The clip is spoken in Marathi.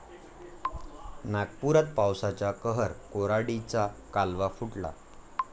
नागपुरात पावसाचा कहर, कोराडीचा कालवा फुटला